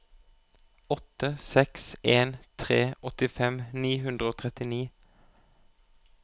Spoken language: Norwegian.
åtte seks en tre åttifem ni hundre og trettini